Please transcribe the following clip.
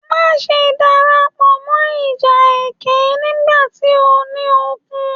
Má ṣe darapọ̀ mọ́ ìjà ẹkẹ nigbati óò ní okùn!